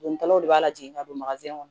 Don dalaw de b'a jeni ka don kɔnɔ